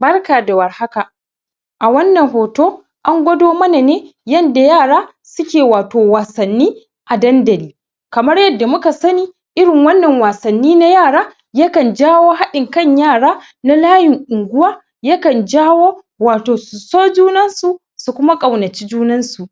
Barka da warhaka a wannan hoto an gwado mana ne yanda yara suke wato wasanni a dandali kamar yadda muka sani irin wannan wasanni na yara yakan jawo haɗin kan yara na layin unguwa yakan jawo wato su so junan su su kuma ƙaunaci junansu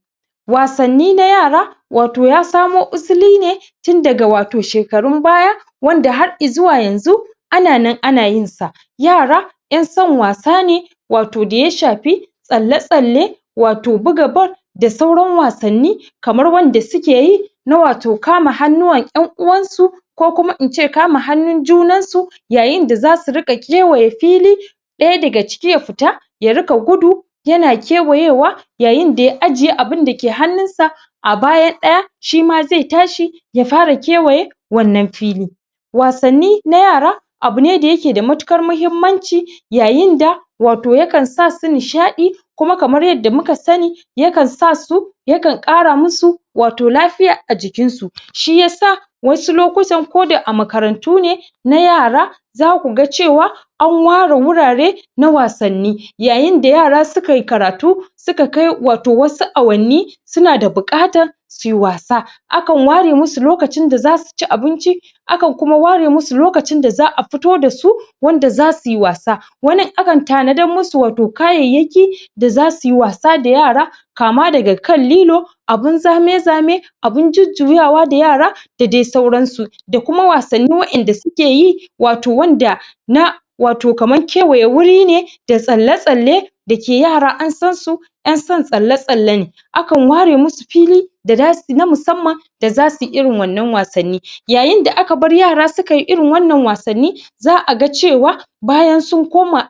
wasanni na yara wato ya samo usuli ne tun daga wato shekarun baya wanda har izuwa yanzu ana nan ana yinsa yara ƴan son wasa ne wato da ya shafi tsalle-tsalle wato buga ball da sauran wasanni kamar wanda suke yi na wato kama hannuwan ƴan uwansu ko kuma ince kama hannun junan su yayinda zasu riƙa kewaya fili ɗaya daga ciki ya fita ya riƙa gudu yana kkewayewa yayinda ya ajiye abunda ke hannunsa a bayan ɗaya shima zai tashi ya fara kewaye wannan fili wasanni na yara abune da yake da matuƙar mahimmanci yayinda wato yakan sasu nishaɗi kuma kamar yadda muka sani yakan sasu yakan ƙara musu wato lafiya a jikinsu shi yasa wasu lokutan koda a makarantu ne na yara zakuga cewa an ware wurare na wasanni yayinda, yara sukayi karatu suka kai wasu awanni suna da buƙatar suyi wasa akan ware musu lokacin da zasu ci abinci akan kuma ware musu lokacin da za'a fito dasu wanda zasuyi wasa waani akan tanadar musu wato kayayyaki da zasu yi wasa da yara kama daga kan lilo abun zame-zame abun jujjuyawa da yara dadai sauransu da kuma wasanni waɗanda suke yi wato wanda na wato kaman kewaye wuri ne da tsalle-tsalle dake yara an sansu ƴan son tsalle-tsalle ne akan ware musu fili da za suyi, na musamman da za suyi irin wannan wasanni yayinda aka bar yara sukayi irin wannan wasanni za'a ga cewa bayan sun koma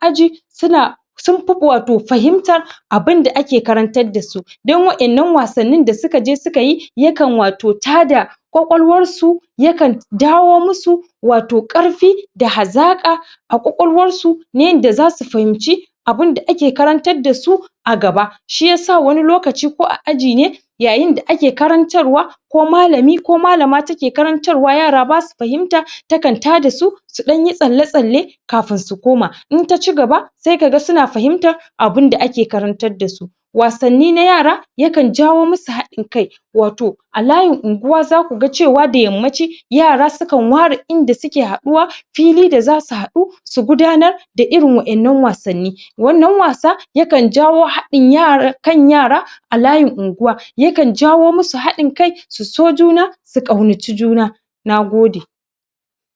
suna sunfi wato fahimtar abinda ake karantar dasu don waɗannan wasannin da sukaje sukayi yakan wato tada kwakwalwarsu yakan dawo musu ƙarfi da hazaƙa a kwakwalwarsu na yanda zasu fahimci abunda ake karantar dasu a gaba shi yasa wani lokaci ko a aji ne yayinda ake karantarwa ko malami ko malama take karantarwa yara basa fahimta yakan tada su ɗanyi tsalle-tsalle kafin su komma inta ci gaba sai kaga suna fahimta abunda ake karantar dasu wasanni na yara yakan jawo musu haɗin kai wato a layin unguwa zakuga cewa da yammaci yara sukan ware inda suke haɗuwa fili da zasu haɗu su gudanar da iorin waɗannan wasanni wannan wasa yakan jawo haɗi haɗin kan yara a layin unguwa yakan jawo musu haɗin kai su so juna su ƙaunaci juna nagode